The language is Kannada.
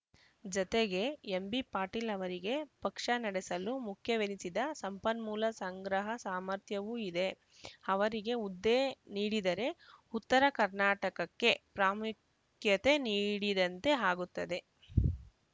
ಜತೆಗೆ ಎಂಬಿಪಾಟೀಲ್‌ ಅವರಿಗೆ ಪಕ್ಷ ನಡೆಸಲು ಮುಖ್ಯವೆನಿಸಿದ ಸಂಪನ್ಮೂಲ ಸಂಗ್ರಹ ಸಾಮರ್ಥ್ಯವೂ ಇದೆ ಅವರಿಗೆ ಹುದ್ದೆ ನೀಡಿದರೆ ಉತ್ತರ ಕರ್ನಾಟಕಕ್ಕೆ ಪ್ರಾಮುಖ್ಯತೆ ನೀಡಿದಂತೆ ಆಗುತ್ತದೆ